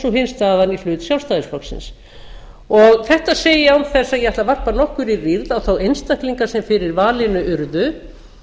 og hin staðan í hlut sjálfstæðisflokksins þetta segi ég án þess að ég ætli að varpa nokkurri rýrð á þá einstaklinga sem fyrir valinu urðu